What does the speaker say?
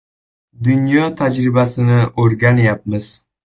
Dunyo tajribasini o‘rganyapmiz.